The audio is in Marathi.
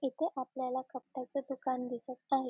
इथे आपल्याला कपड्याच दुकान दिसत आहे.